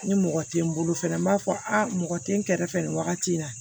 Ni mɔgɔ tɛ n bolo fɛnɛ n b'a fɔ a mɔgɔ tɛ n kɛrɛfɛ nin wagati in na